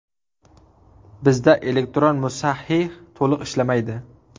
Bizda elektron musahhih to‘liq ishlamaydi.